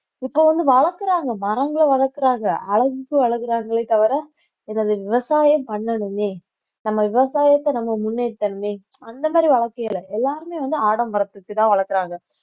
இப்ப வந்து வளர்க்கிறாங்க மரங்களை வளர்க்கிறாங்க அழகுக்கு வளர்க்கிறாங்களே தவிர விவசாயம் பண்ணணுமே நம்ம விவசாயத்தை நம்ம முன்னேற்றணுமே அந்த மாதிரி வளர்க்கவில்லை எல்லாருமே வந்து ஆடம்பரத்தை வச்சுதான் வளர்க்கிறாங்க